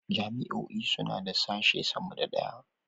Jami'o'i suna da sashe sama da ɗaya.